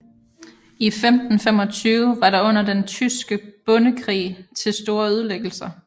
I 1525 var der under Den tyske bondekrig til store ødelæggelser